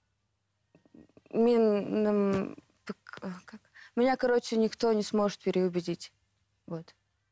как меня короче никто не сможет переубедить вот